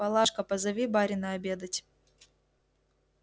палашка позови барина обедать